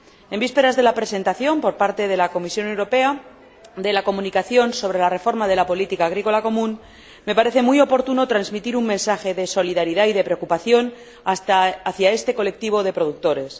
En vísperas de la presentación por la Comisión Europea de la Comunicación sobre la reforma de la Política Agrícola Común, me parece muy oportuno transmitir un mensaje de solidaridad y de preocupación hacia este colectivo de productores.